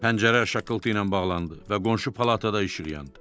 Pəncərə şaqqıltı ilə bağlandı və qonşu palatada işıq yandı.